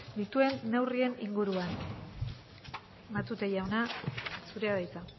dituen neurrien inguruan matute jauna zurea da hitza